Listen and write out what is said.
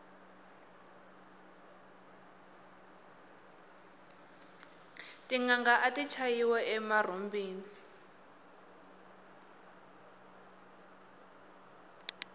tinanga ati chayiwa emarhumbini